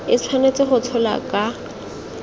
e tshwanetse go tsholwa ka